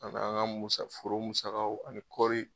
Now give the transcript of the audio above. An b'an ka musa furu musagaw ani kɔɔri